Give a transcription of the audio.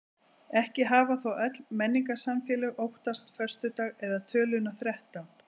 Ekki hafa þó öll menningarsamfélög óttast föstudag eða töluna þrettán.